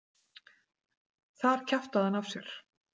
Þar kjaftaði hann af sér.